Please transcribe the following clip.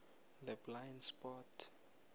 the blind spot